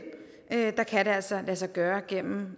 kan det altså lade sig gøre gennem